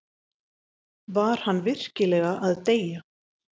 Var hann virkilega að deyja?